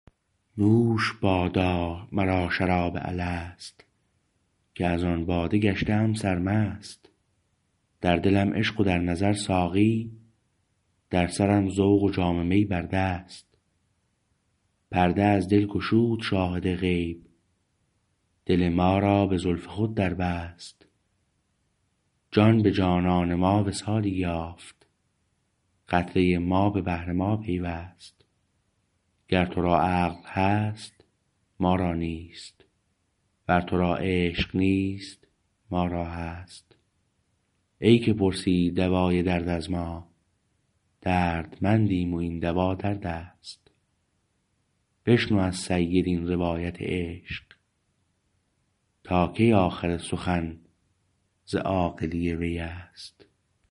نوش بادا مرا شراب الست که از آن باده گشته ام سرمست در دلم عشق و در نظر ساقی در سرم ذوق و جام می بر دست پرده از دل گشود شاهد غیب دل ما را به زلف خود دربست جان به جانان ما وصالی یافت قطره ما به بحر ما پیوست گر تو را عقل هست ما را نیست ور تو را عشق نیست ما را هست ای که پرسی دوای درد از ما دردمندیم و این دوا دردست بشنو از سید این روایت عشق تا کی آخر سخن ز عاقلی ویست